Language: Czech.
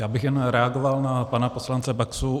Já bych jen reagoval na pana poslance Baxu.